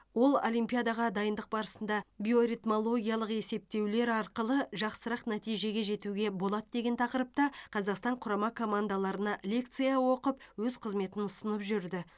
ол олимпиадаға дайындық барысында биоритмологиялық есептеулер арқылы жақсырақ нәтижеге жетуге болады деген тақырыпта қазақстан құрама командаларына лекция оқып өз қызметін ұсынып жүрді